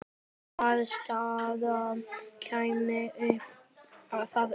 Hvaða staða kæmi þá upp?